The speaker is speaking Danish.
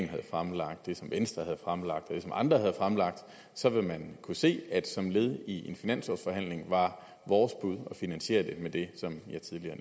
havde fremlagt det som venstre havde fremlagt og det som andre havde fremlagt så ville man kunne se at det som led i en finanslovforhandling var vores bud at finansiere det med det som jeg tidligere